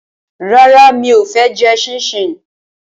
Rárá, mi ò fẹ́ jẹ ṣíńṣiǹ